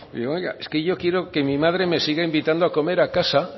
pero oiga es que yo quiero que mi madre me siga invitando a comer a casa